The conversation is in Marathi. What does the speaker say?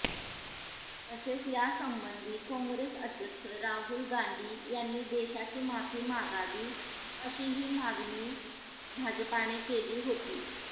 तसेच यासंबंधी काँग्रेस अध्यक्ष राहुल गांधी यांनी देशाची माफी मागावी अशीही मागणी भाजपाने केली होती